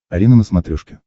арена на смотрешке